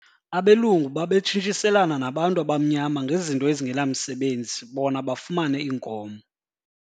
Abelungu babetshintshiselana nabantu abamnyama ngezinto ezingenamsebenzi bona bafumane iinkomo.